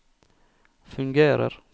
fungerer